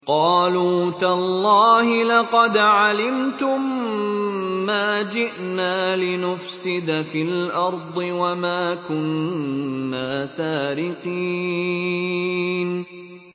قَالُوا تَاللَّهِ لَقَدْ عَلِمْتُم مَّا جِئْنَا لِنُفْسِدَ فِي الْأَرْضِ وَمَا كُنَّا سَارِقِينَ